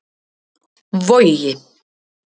Vogi